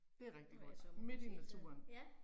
Det er rigtigt godt, midt i naturen